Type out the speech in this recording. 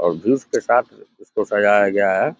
और जूस के साथ उसको सजाया गया है।